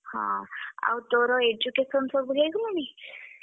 ହଁ ଆଉ ତୋର education ସବୁ ହେଇଗଲାଣି?